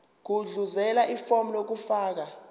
gudluzela ifomu lokufaka